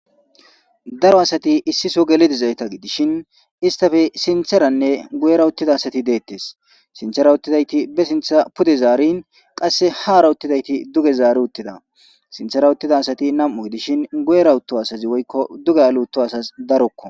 daro asati issiso geledizayta gidishin istafe sintheranne guyera uttida asati deettes sinthera uttidayti be sintha pude zaarin qasse haara uttidayti duge zaari uttida sinthera uttida asati nam7u gidishin guyera utto asazi woykko duge aluutto asas darokko